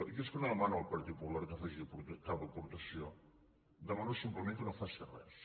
jo és que no demano al partit popular que faci cap aportació demano simplement que no faci res